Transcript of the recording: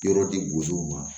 Yɔrɔ di gozow ma